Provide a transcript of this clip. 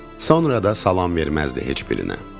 Sonra da salam verməzdi heç birinə.